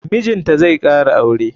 Mijinta zai kara aure.